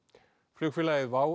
flugfélagið